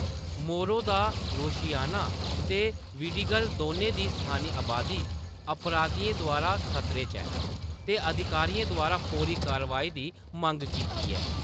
मोरो da Rocinha ते Vidigal दोनें दी स्थानी अबादी अपराधियें द्वारा खतरे च ऐ, ते अधिकारियें द्वारा फौरी कार्रवाई दी मंग कीती ऐ।